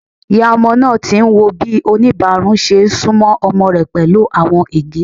Iya ọmọ naa ti n wo bi onibarun ṣe sunmọ ọmọ rẹ pẹlu awọn ege.